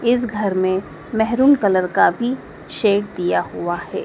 इस घर में मेहरूम कलर का भी शेड दिया हुआ है।